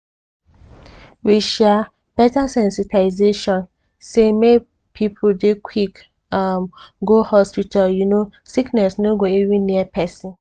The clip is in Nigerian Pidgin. with um beta sensitization say make people dey quick um go hospital plenty um sickness no go even near person.